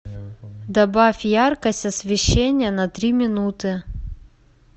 добавь яркость освещения на три минуты